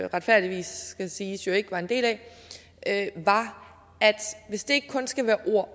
retfærdigvis siges ikke var en del af var at hvis det ikke kun skal være ord